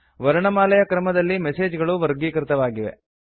ವರ್ಣಮಾಲೆಯ ಕ್ರಮದಲ್ಲಿ ಮೆಸೇಜ್ ಗಳು ವರ್ಗೀತಕೃತವಾಗಿವೆ